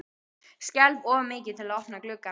Skelf of mikið til að opna gluggann.